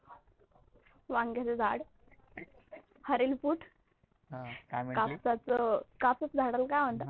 वांग्याचं झाड, हरेल पुट, कापसाच्या झाडाला काय म्हणतात?